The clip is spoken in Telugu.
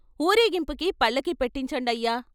"ఊరేగింపుకి పల్లకి పెట్టించండయ్యా.